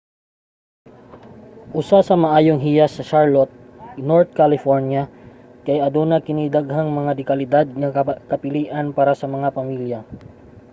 usa sa maayong hiyas sa charlotte north carolina kay aduna kini daghang mga de-kalidad nga kapilian para sa mga pamilya